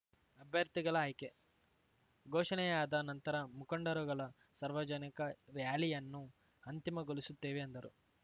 ಅಭ್ಯರ್ಥಿಗಳ ಆಯ್ಕೆ ಘೋಷಣೆಯಾದ ನಂತರ ಮುಖಂಡರುಗಳ ಸಾರ್ವಜನಿಕ ರ್‍ಯಾಲಿಯನ್ನು ಅಂತಿಮಗೊಳಿಸುತ್ತೇವೆ ಎಂದರು